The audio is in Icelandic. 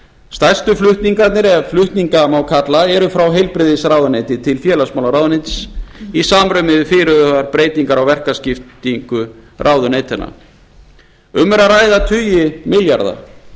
stærstu flutningarnir ef flutninga má kalla eru frá heilbrigðisráðuneyti til félagsmálaráðuneytis í samræmi við fyrirhugaðar breytingar á verkaskiptingu ráðuneytanna um er að ræða tugi milljarða